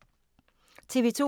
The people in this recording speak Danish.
TV 2